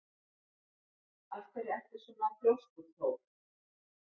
Af hverju ertu svona þrjóskur, Thór?